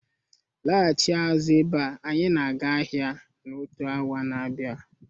Lọghachi azụ abea anyị na-aga ahịa na otu awa n'abia